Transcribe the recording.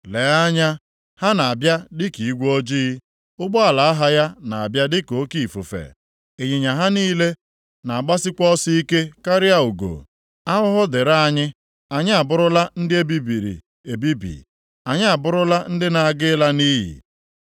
Lee anya, ha na-abịa dịka igwe ojii. Ụgbọala agha ya na-abịa dịka oke ifufe, ịnyịnya ha niile na-agbasikwa ọsọ ike karịa ugo. Ahụhụ dịrị anyị, anyị abụrụla ndị e bibiri ebibi! Anyị abụrụla ndị na-aga ịla nʼiyi!